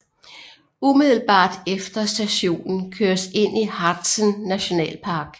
Umiddelbart efter stationen køres ind i Harzen Nationalpark